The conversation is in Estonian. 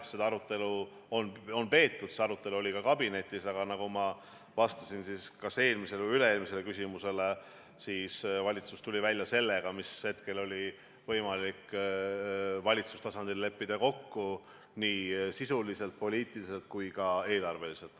Jah, seda arutelu on peetud, see arutelu oli ka kabinetis, aga nagu ma vastasin kas eelmisele või üle-eelmisele küsimusele, valitsus tuli välja sellega, mida hetkel oli võimalik valitsustasandil leppida kokku nii sisuliselt, poliitiliselt kui ka eelarveliselt.